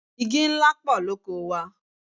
Igi ńlá pọ̀ lóko wa.